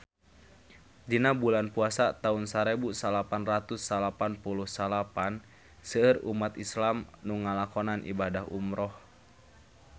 Dina bulan Puasa taun sarebu salapan ratus salapan puluh salapan seueur umat islam nu ngalakonan ibadah umrah